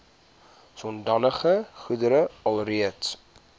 sodanige goedere alreeds